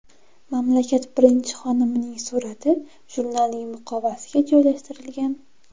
Mamlakat birinchi xonimining surati jurnalning muqovasiga joylashtirilgan.